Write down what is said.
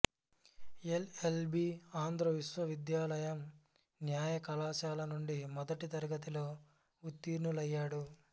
L L B Andhra విశ్వవిద్యాలయం న్యాయ కళాశాల నుండి మొదటి తరగతిలో ఉత్తీర్ణులయ్యాడు